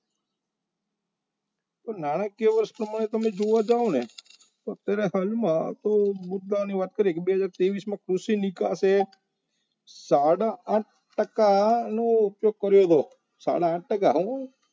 નાણાકીય વસ્તુમાં તમે જોવા જાવ ને તો અત્યારે હાલમાં સૌ મુદ્દાની વાત કરી બે હજાર તેવિસ માં કૃષિ નીકળશે સાડા આઠ ટકાનો ઉપયોગ કર્યો હતો સાડા આઠ ટકા હો